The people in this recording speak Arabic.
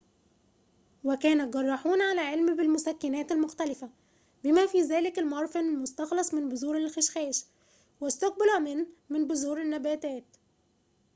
وكان الجراحون على علم بالمسكنات المختلفة بما في ذلك المورفين المستخلص من بذور الخشخاش والسكوبولامين من بذور النباتات